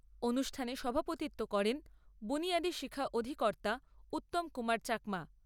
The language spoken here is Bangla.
অনুষ্ঠানে সভাপতিত্ব করেন বুনিয়াদী শিক্ষা অধিকর্তা উত্তম কুমার চাকমা।